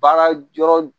Baara yɔrɔ